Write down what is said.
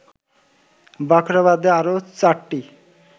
বাখরাবাদে আরো ৪টি